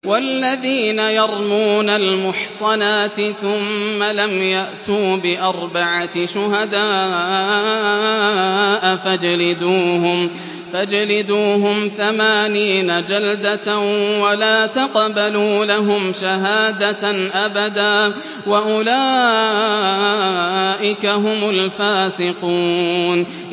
وَالَّذِينَ يَرْمُونَ الْمُحْصَنَاتِ ثُمَّ لَمْ يَأْتُوا بِأَرْبَعَةِ شُهَدَاءَ فَاجْلِدُوهُمْ ثَمَانِينَ جَلْدَةً وَلَا تَقْبَلُوا لَهُمْ شَهَادَةً أَبَدًا ۚ وَأُولَٰئِكَ هُمُ الْفَاسِقُونَ